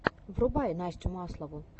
врубай настю маслову